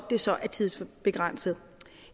det så er tidsbegrænset